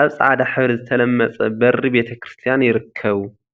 አብ ፃዕዳ ሕብሪ ዝተለመፀ በሪ ቤተ ክርስትያን ይርከቡ፡፡